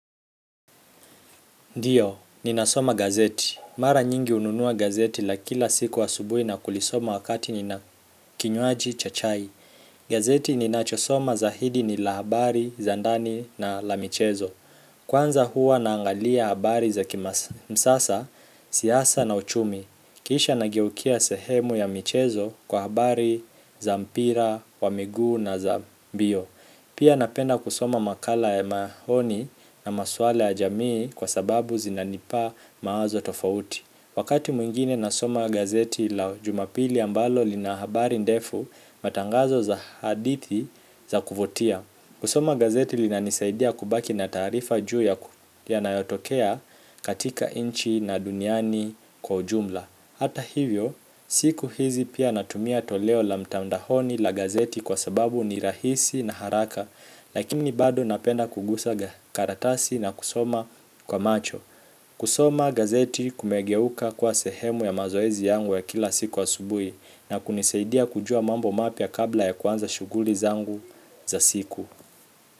Ndiyo, ninasoma gazeti. Mara nyingi hununua gazeti la kila siku asubuhi na kulisoma wakati nina kinywaji cha chai. Gazeti ninachosoma zaidi ni la habari, za ndani na la michezo. Kwanza huwa naangalia habari za kimsasa, siasa na uchumi. Kisha nageukia sehemu ya michezo kwa habari za mpira, wa miguu na za mbio. Pia napenda kusoma makala ya maoni na maswala ya jamii kwa sababu zinanipa mawazo tofauti wakati mwingine nasoma gazeti la jumapili ambalo lina habari ndefu matangazo za hadithi za kuvutia kusoma gazeti linanisaidia kubaki na taarifa juu ya yanayotokea katika nchi na duniani kwa ujumla hata hivyo, siku hizi pia natumia toleo la mtandaoni la gazeti kwa sababu ni rahisi na haraka, lakini bado napenda kugusa karatasi na kusoma kwa macho. Kusoma gazeti kumegeuka kwa sehemu ya mazoezi yangu ya kila siku asubuhi na kunisaidia kujua mambo mapya kabla ya kuanza shughuli zangu za siku.